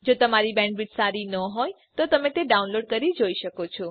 જો તમારી બેન્ડવિડ્થ સારી ન હોય તો તમે ડાઉનલોડ કરી તે જોઈ શકો છો